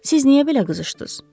Siz niyə belə qızışdınız?